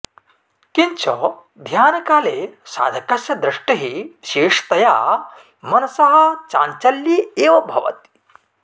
किञ्च ध्यानकाले साधकस्य दृष्टिः विशेषतया मनसः चाञ्चल्ये एव भवति